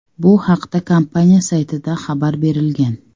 Bu haqda kompaniya saytida xabar berilgan .